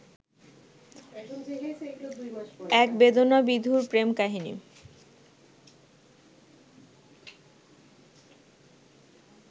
এক বেদনাবিধুর প্রেম কাহিনী